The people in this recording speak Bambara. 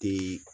Te